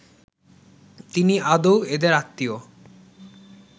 তিনি আদৌ এদের আত্মীয়